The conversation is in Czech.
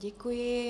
Děkuji.